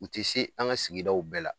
U tɛ se an ŋa sigidaw bɛɛ la.